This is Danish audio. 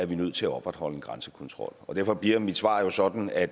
vi nødt til at opretholde en grænsekontrol derfor bliver mit svar sådan at